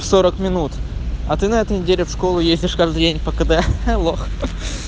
сорок минут а ты на этой неделе в школу ездишь каждый день по кд да лох